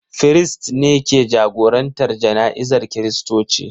Firist ne ke jagorantar jana'izar Kiristoci.